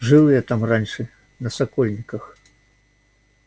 жил я там раньше на сокольниках